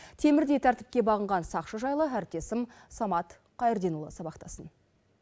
темірдей тәртіпке бағынған сақшы жайлы әріптесім самат қайырденұлы сабақтасын